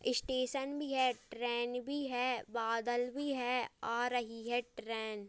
Station भी है train भी है बादल भी है आ रही है ट्रेन ।